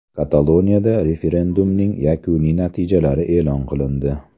Kataloniyada referendumning yakuniy natijalari e’lon qilindi.